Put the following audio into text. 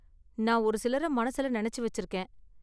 நான் ஒரு சிலரை மனசுல நினைச்சு வெச்சிருக்கேன்.